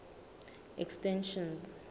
extension